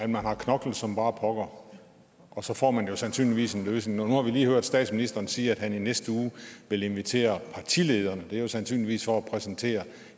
man har knoklet som bare pokker og så får man jo sandsynligvis en løsning nu har vi lige hørt statsministeren sige at han i næste uge vil invitere partilederne og det er sandsynligvis for at præsentere